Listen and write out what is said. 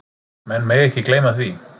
Menn mega ekki gleyma því.